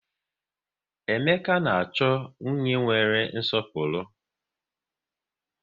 Emeka na-achọ nwunye nwere nwere nsọpụrụ